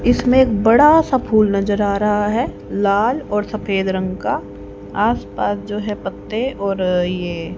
इसमें एक बड़ा सा फूल नजर आ रहा है लाल और सफेद रंग का आस पास जो है पत्ते और ये --